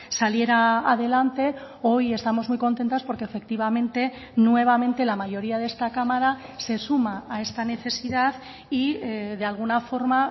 saliera adelante hoy estamos muy contentas porque efectivamente nuevamente la mayoría de esta cámara se suma a esta necesidad y de alguna forma